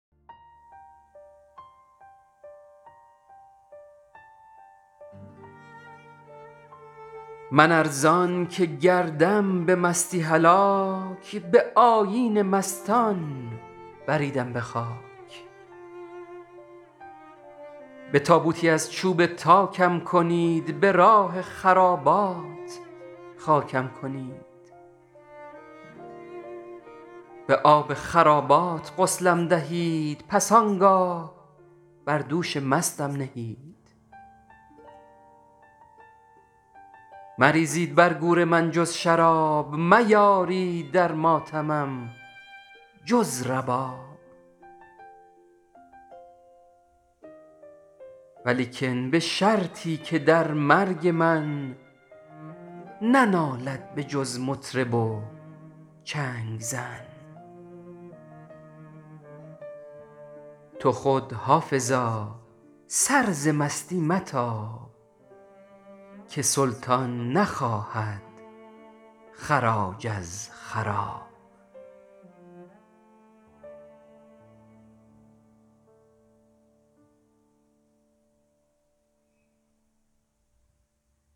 من ار زآن که گردم به مستی هلاک به آیین مستان بریدم به خاک به تابوتی از چوب تاکم کنید به راه خرابات خاکم کنید به آب خرابات غسلم دهید پس آنگاه بر دوش مستم نهید مریزید بر گور من جز شراب میارید در ماتمم جز رباب ولیکن به شرطی که در مرگ من ننالد به جز مطرب و چنگ زن تو خود حافظا سر ز مستی متاب که سلطان نخواهد خراج از خراب این شعر در کتاب سفینه حافظ به سعی و اهتمام سرتیپ مسعود جنتی عطایی در زمره ساقی نامه های منتسب به حافظ آمده است هر چند لحن و زبان شعر نشان می دهد که این شعر به احتمال بالا از حافظ نیست